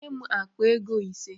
Nye m akpa ego ise!